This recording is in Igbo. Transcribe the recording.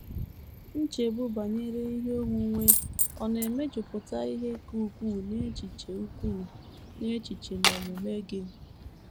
Nchegbu banyere ihe onwunwe ọ̀ na - emejupụta ihe ka ukwuu n’echiche ukwuu n’echiche na omume gị?